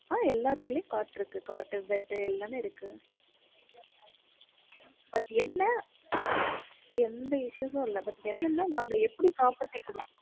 ஆஹ் எல்லா room லையும் cot இருக்கு cot, bed எல்லாமே இருக்கு but என்ன எந்த issue வும் இல்ல but எங்கெங்க நாங்க property குடுக்க